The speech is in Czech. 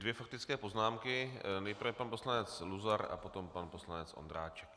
Dvě faktické poznámky - nejprve pan poslanec Luzar a potom pan poslanec Ondráček.